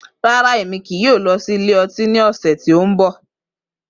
Rara, Emi kii yoo lọ si ilẹ ọti ni ọsẹ ti n bọ.